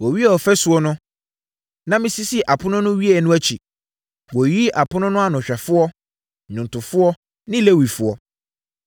Wɔwiee ɔfasuo no, na mesisii apono no wieeɛ no akyi, wɔyiyii apono no anohwɛfoɔ, nnwomtofoɔ ne Lewifoɔ.